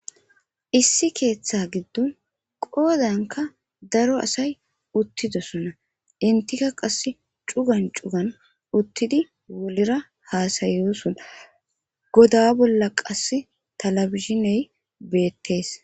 issi keeththa giddon qoodanka daro asay uttidosona entika qase cugan cugan uttidi wolira haasayosona goda bolla qass taelejiney beettees